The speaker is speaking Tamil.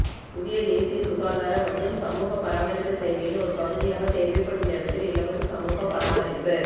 புதிய தேசிய சுகாதார மற்றும் சமூக பராமரிப்பு சேவையின் ஒரு பகுதியாக தேவைப்படும் நேரத்தில் இலவச சமூக பராமரிப்பு